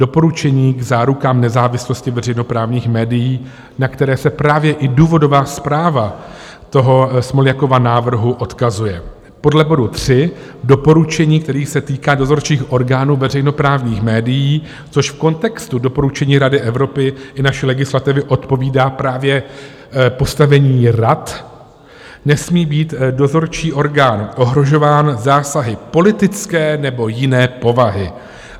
Doporučení k zárukám nezávislosti veřejnoprávních médií, na které se právě i důvodová zpráva toho Smoljakova návrhu odkazuje podle bodu 3 doporučení, který se týká dozorčích orgánů veřejnoprávních médií, což v kontextu doporučení Rady Evropy i naší legislativy odpovídá právě postavení rad, nesmí být dozorčí orgán ohrožován zásahy politické nebo jiné povahy.